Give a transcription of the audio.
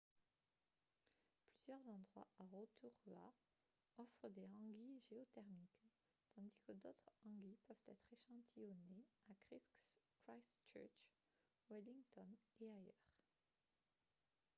plusieurs endroits à rotorua offrent des hangis géothermiques tandis que d'autres hangis peuvent être échantillonnés à christchurch wellington et ailleurs